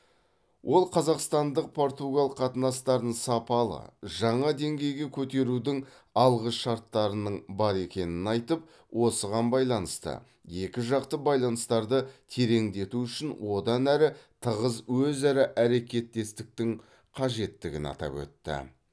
ол қазақстандық португал қатынастарын сапалы жаңа деңгейге көтерудің алғы шарттарының бар екенін айтып осыған байланысты екіжақты байланыстарды тереңдету үшін одан әрі тығыз өзара әрекеттестіктің қажеттігін атап өтті